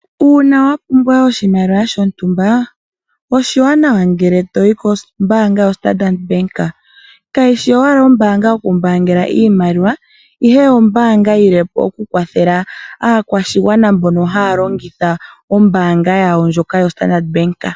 Uuna wa pumbwa oshimaliwa shontumba oshiwanawa ngele to yi kombaanga yoStandard. Kayi shi owala ombaanga yokumbaanga iimaliwa, ihe ombaanga yi lile po okukwathela aakwashigwana mbono haa longitha ombaanga yawo ndjoka yoStandard.